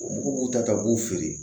Mɔgɔw b'u ta ka b'u feere